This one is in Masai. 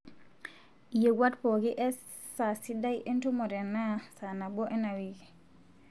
iyewuat pooki e saa sidai entumo tenaa saa nabo ena wiki